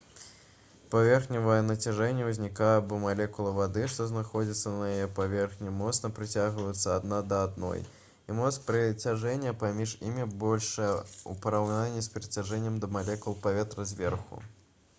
паверхневае нацяжэнне ўзнікае бо малекулы вады што знаходзяцца на яе паверхні моцна прыцягваюцца адна да адной і моц прыцяжэння паміж імі большая у параўнанні з прыцяжэннем да малекул паветра зверху